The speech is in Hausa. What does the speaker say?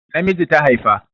Namiji ta haifa